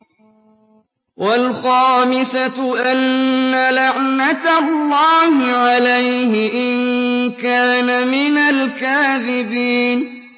وَالْخَامِسَةُ أَنَّ لَعْنَتَ اللَّهِ عَلَيْهِ إِن كَانَ مِنَ الْكَاذِبِينَ